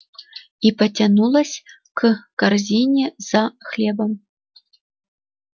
и потянулась к корзине за хлебом